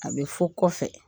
A bɛ fɔ kɔfɛ.